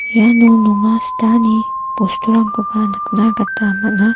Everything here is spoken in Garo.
iano nonga sitani bosturangkoba nikna gita man·a.